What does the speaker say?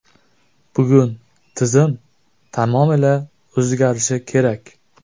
Bugun tizim tamomila o‘zgarishi kerak.